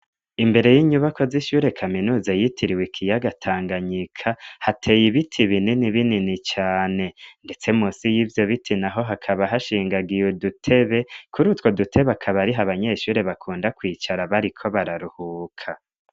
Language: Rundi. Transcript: Imbere y'inyubako z'ishure kaminuza yitiriwe ikiyagatanganyika hateye ibiti binini binini cane, ndetse musi y'ivyo biti na ho hakaba hashingagiwe dutebe kuri utwo dutebe akabariho abanyeshuri bakunda kwicara bariko bararuhuka.